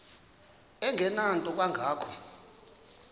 engenanto kanga ko